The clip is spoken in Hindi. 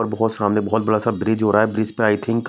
और बहोत सामने बहुत बड़ा सा ब्रिज हो रहा है ब्रिज पे आई थिंक --